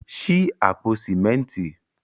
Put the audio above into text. Ṣí àpò sìmẹ́ntì.